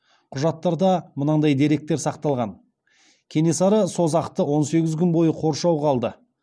құжаттарда мынадай деректер сақталған кенесары созақты он сегіз күн бойы қоршауға алды